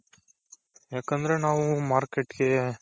ಯಾಕಂದರೆ ನಾವು marketಗೆ,